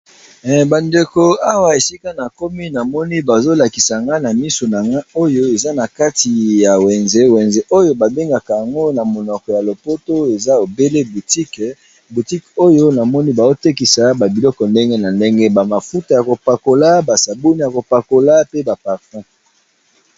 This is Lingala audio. Ba ndeko awa esika na komi namoni bazo lakisa nga na misu nanga oyo eza na kati ya wenze wenze oyo ba bengaka yango na monoko ya lopoto eza ebele butique butique oyo namoni baotekisa ba biloko ndenge na ndenge ba mafuta yako pakola ba saboni yako pakola pe ba parfum.